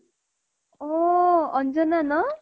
অ Anjana ন